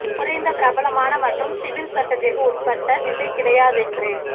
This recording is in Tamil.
குறைந்த பிரபலமான மற்றும் சிவில் சட்டத்திற்கு உட்பட்ட திசை கிடையாதென்று